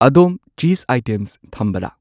ꯑꯗꯣꯝ ꯆꯤꯖ ꯑꯥꯏꯇꯦꯝꯁ ꯊꯝꯕꯔꯥ ?